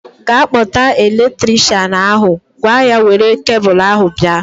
Ga kpọta elektrikshan ahu! Gwa ya were kebul ahu bịa